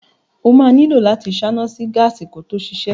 O máa nílò láti ṣáná sí gáàsì kí ó tó ṣiṣẹ́.